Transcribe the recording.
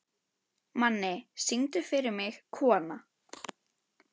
Manni, syngdu fyrir mig „Kona“.